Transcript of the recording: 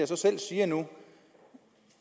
så selv siger nu